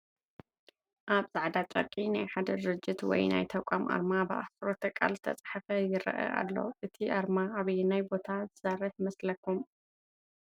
ኣብ ፃዕዳ ጨርቂ ናይ ሓደ ድርጅት ወይ ናይ ተቋም ኣርማ ብኣሕፅሮተ ቃል ዝተፃሓፈ ይረአ ኣሎ፡፡ እቲ ኣርማ ኣበየናይ ቦታ ዝሰርሕ ይመስለኩም?